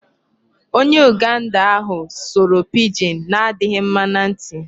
Onye Uganda ahụ sụrụ Pidgin na-adịghị mma na ntị.